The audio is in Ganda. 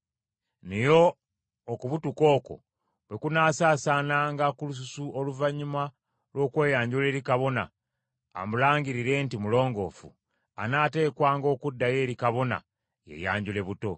Naye okubutuka okwo bwe kunaasaasaananga ku lususu oluvannyuma lw’okweyanjula eri kabona amulangirire nti mulongoofu, anaateekwanga okuddayo eri kabona yeeyanjule buto.